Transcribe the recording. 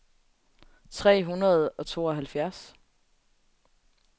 tre hundrede og tooghalvfjerds